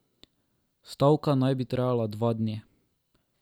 Stavka naj bi trajala dva dni.